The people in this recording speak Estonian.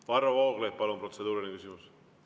Varro Vooglaid, palun, protseduuriline küsimus!